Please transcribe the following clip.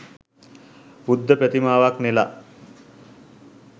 බුද්ධ ප්‍රතිමාවක් නෙලා